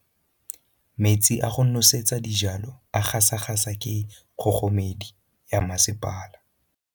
Metsi a go nosetsa dijalo a gasa gasa ke kgogomedi ya masepala.